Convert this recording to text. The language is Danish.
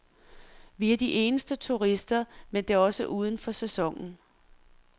Vi er de eneste turister, men det er også uden for sæsonen.